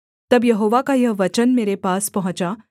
तब यहोवा का यह वचन मेरे पास पहुँचा